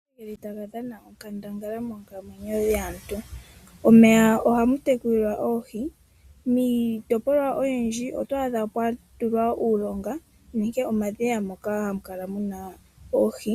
Omeya ogeli taga dhana onkandangala monkalamweno yaantu, omeya ohamu tekulilwa oohi, miitopolwa oyindji oto adha pwa tulwa uulonga nenge omadhiya moka hamu kala muna oohi